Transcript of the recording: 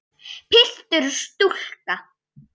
Piltur og stúlka.